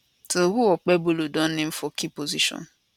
so who okpebholo don name for key position